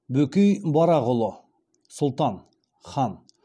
бөкей барақұлы сұлтан хан